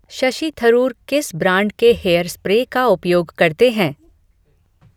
शशि थरूर किस ब्रांड के hair spray का उपयोग करते हैं